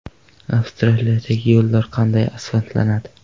Avstraliyadagi yo‘llar qanday asfaltlanadi?.